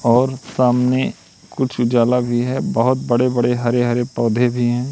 और सामने कुछ उजाला भी है बहोत बड़े-बड़े हरे-हरे पौधे भी हैं।